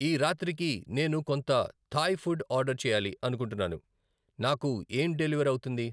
ఈరాత్రి కి నేను కొంత థాయ్ ఫుడ్ ఆర్డర్ చేయాలి అనుకుంటున్నాను నాకు ఏం డెలివర్ అవుతుంది